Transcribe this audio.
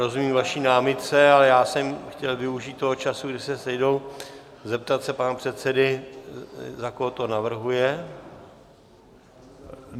Rozumím vaší námitce, ale já jsem chtěl využít toho času, kdy se sejdou, zeptat se pana předsedy, za koho to navrhuje.